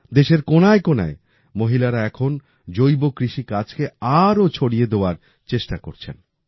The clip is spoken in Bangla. দেশের কোনায় কোনায় মহিলারা এখন প্রাকৃতিক কৃষিকার্যকে আরো ছড়িয়ে দেওয়ার চেষ্টা করছেন